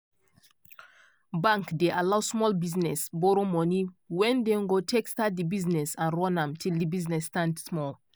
bank dey allow small business borrow money wen dey go take start di business and run am till di business stand small.